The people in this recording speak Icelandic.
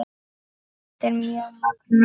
Þetta er mjög magnað.